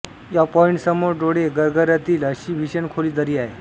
या पॉईंट समोर डोळे गरगरतील अशी भीषण खोल दरी आहे